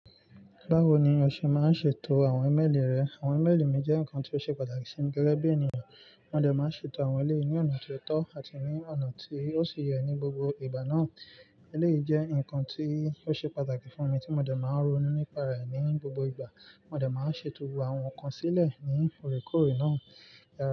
Báwo ni o ṣe máa ń ṣètò àwọn ímélì rẹ? Àwọn ímélì mi jẹ́ nǹkan tí ó ṣe pàtàkì sí mi gẹ́gẹ́ bí ènìyàn. Mo dẹ̀ máa ń ṣètò àwọn ẹ́léyìí ní ọ̀nà tó tọ́ àti ní ọ̀nà tí ó sì yẹ ní gbogbo ìgbà náà. Élèyìí jẹ́ nǹkan tí ó ṣe pàtàkì fún mi tí mo dẹ̀ máa ń ronú nípa rẹ̀ ní gbogbo ìgbà. Mo dẹ̀ máa ń ṣètò àwọn nǹkan sílẹ̀ ní òrékòóré náà.